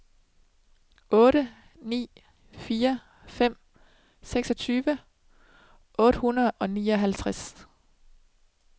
otte ni fire fem seksogtyve otte hundrede og nioghalvtreds